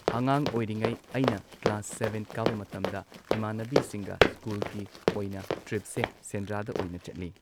ꯑꯉꯥꯡ ꯑꯣꯏꯔꯤꯉꯩ ꯑꯩꯅ ꯀ꯭ꯂꯥꯁ ꯁꯚꯦꯟ ꯀꯥꯕ ꯃꯇꯝꯗ ꯏꯃꯥꯟꯅꯕꯤꯁꯤꯡꯒ ꯁ꯭ꯀꯨꯜꯒꯤ ꯑꯣꯏꯅ ꯇ꯭ꯔꯤꯞꯁꯦ ꯁꯦꯟꯗ꯭ꯔꯥꯗ ꯑꯣꯏꯅ ꯆꯠꯂꯤ꯫